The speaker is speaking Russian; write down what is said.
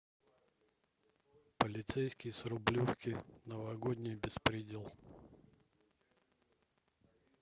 полицейский с рублевки новогодний беспредел